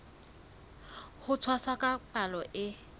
ho tshwasa ka palo e